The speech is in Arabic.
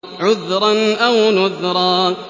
عُذْرًا أَوْ نُذْرًا